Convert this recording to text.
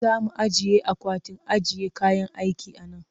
Za mu ajiye akwatin ajiye kayan aiki a nan